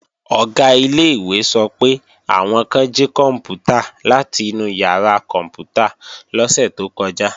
Ọ̀gá ilé-ìwé sọ pé, àwọn kan jí kòǹpútà láti inú ìyàrá kòǹpútà lọ́sẹ̀ tó kọjá